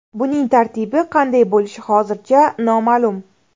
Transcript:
Buning tartibi qanday bo‘lishi hozircha noma’lum.